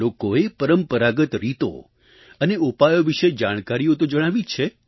લોકોએ પરંપરાગત રીતો અને ઉપાયો વિશે જાણકારીઓ તો જણાવી જ છે